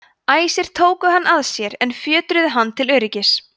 æsir tóku hann að sér en fjötruðu hann til öryggis